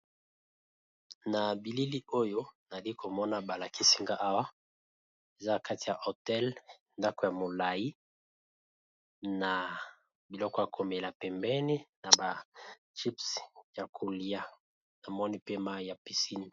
Na bilili oyo nali komona ba lakisi nga awa eza kati ya hotel ndako ya molayi, na biloko ya komela pembeni na ba chips ya kolia na moni pe mayi ya piscine.